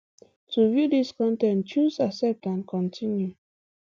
to view dis con ten t choose accept and continue